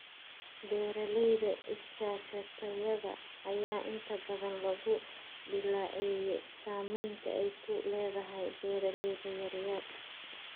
Beeralayda iskaashatada ayaa inta badan lagu dhaleeceeyaa saamaynta ay ku leedahay beeralayda yar yar.